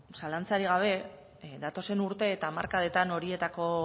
zalantzarik gabe datozen urteetan eta hamarkadetan horietako